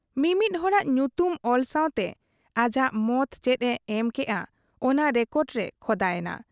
ᱢᱤ ᱢᱤᱫ ᱦᱚᱲᱟᱜ ᱧᱩᱛᱩᱢ ᱚᱞ ᱥᱟᱶᱛᱮ ᱟᱡᱟᱜ ᱢᱚᱛ ᱪᱮᱫ ᱮ ᱮᱢ ᱠᱮᱜ ᱟ , ᱚᱱᱟ ᱨᱮᱠᱚᱨᱰ ᱨᱮ ᱠᱷᱚᱫᱟ ᱮᱱᱟ ᱾